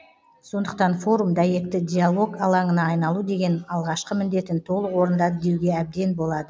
сондықтан форум дәйекті диалог алаңына айналу деген алғашқы міндетін толық орындады деуге әбден болады